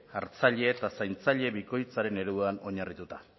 hartzaile eta zaintzaile bikoitzaren ereduan oinarrituta